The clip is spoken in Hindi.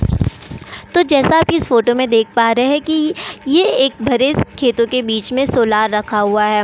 तो जैसा आप इस फोटो में देख पा रहे हैं कि ये एक भरेस खेतों के बीच में सोलार रखा हुआ है।